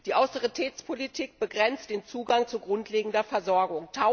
Die Austeritätspolitik begrenzt den Zugang zu grundlegender Versorgung.